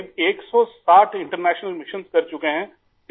تقریباً 160 بین الاقوامی مشن کر چکے ہیں